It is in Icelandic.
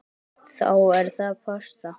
Þá er það pasta.